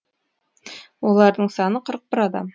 олардың саны қырық бір адам